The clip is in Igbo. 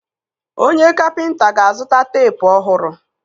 Onye kapịnta ga-azụta teepu ọhụrụ.